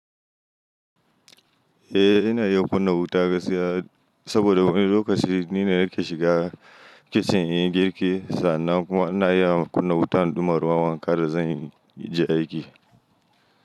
Eh ina iya kunna wuta gaskiya saboda wani lokaci ni na nake shiga kicin in yi girki. Sannan kuma ina iya kunna wutan ɗuma ruwan wanka da zan yi aiki.